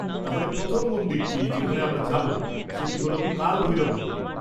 তাহলে প্রথম মন্দিরটি যেখানে আমরা যাব সেটি হল কাল ভৈরব মন্দির।